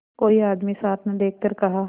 कोई आदमी साथ न देखकर कहा